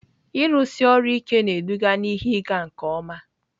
Ịrụsi ọrụ ike na-eduga na ihe ịga nke ọma.